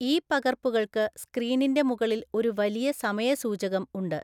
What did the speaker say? ഈ പകർപ്പുകൾക്ക് സ്ക്രീനിന്റെ മുകളിൽ ഒരു വലിയ സമയ സൂചകം ഉണ്ട്.